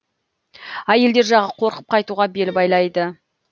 әйелдер жағы қорқып қайтуға бел байлайды